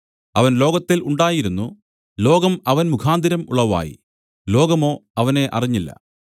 അവൻ ലോകത്തിൽ ഉണ്ടായിരുന്നു ലോകം അവൻ മുഖാന്തരം ഉളവായി ലോകമോ അവനെ അറിഞ്ഞില്ല